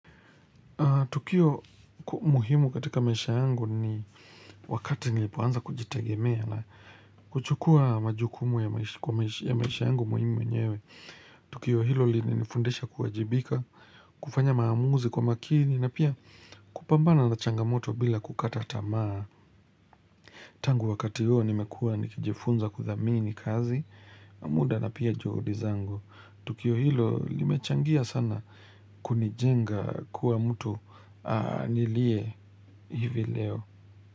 Tukio muhimu katika maisha yangu ni wakati nilipoanza kujitegemea na kuchukua majukumu ya maisha yangu muhimu mwenyewe. Tukio hilo ilinifundisha kuajibika, kufanya maamuzi kwa makini na pia kupambana na changamoto bila kukata tamaa. Tangu wakati hilo nimekua nikijifunza kuthamini kazi, muda na pia juhudi zangu. Tukio hilo limechangia sana kunijenga kuwa mtu nilie hivi leo.